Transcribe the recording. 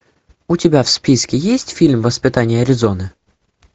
у тебя в списке есть фильм воспитание аризоны